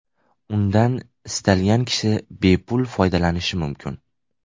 Undan istalgan kishi bepul foydalanishi mumkin.